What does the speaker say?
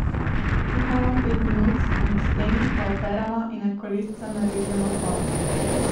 Kuhamo pet minut, medtem pa operemo in na kolesca narežemo por.